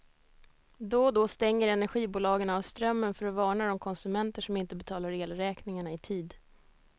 Då och då stänger energibolagen av strömmen för att varna de konsumenter som inte betalar elräkningarna i tid.